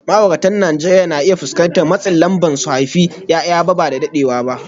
Ma’auratan Najeriya na iya fuskantar matsin lamba su haifi ’ya’ya ba da daɗewa ba bayan aure.